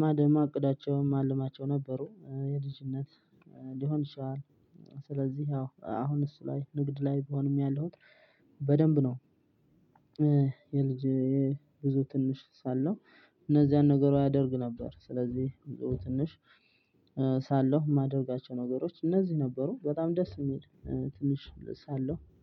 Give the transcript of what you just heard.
ማደማ ማቅዳቸውም ማልማቸው ነበሩ። የልጅነት ሊሆን ይችላል። ስለዚህ ያው አሁን እሱ ላይ ንግድ ላይ ብሆንም ያለሁት በደንብ ነው። የልጅ የብዙ ትንሽ ሳለው እነዚያን ነገሮች አደርግ ነበር። ስለዚህ ትንሽ ሳለው የማደርጋቸው ነገሮች እነዚህ ነበሩ። በጣም ደስ የሚል ትንሽ ሳለሁ